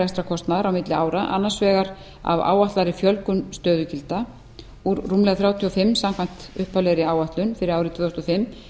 og rekstrarkostnaðar milli ára annars vegar af áætlaðri fjölgun stöðugilda úr rúmlega þrjátíu og fimm samkvæmt upphaflegri áætlun fyrir árið tvö þúsund og fimm